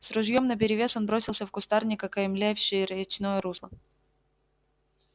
с ружьём наперевес он бросился в кустарник окаймлявший речное русло